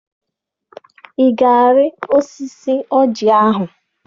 Ị ga-arị osisi ọjị ahụ?